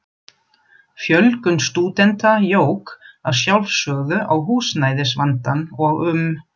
Fjölgun stúdenta jók að sjálfsögðu á húsnæðisvandann og um